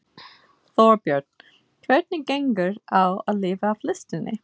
Þorbjörn: Hvernig gengur á að lifa af listinni?